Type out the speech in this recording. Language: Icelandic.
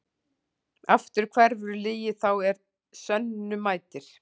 Aftur hverfur lygi þá er sönnu mætir.